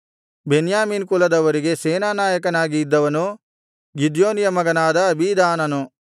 ಬೆನ್ಯಾಮೀನ್ ಕುಲದವರಿಗೆ ಸೇನಾನಾಯಕನಾಗಿ ಇದ್ದವನು ಗಿದ್ಯೋನಿಯ ಮಗನಾದ ಅಬೀದಾನನು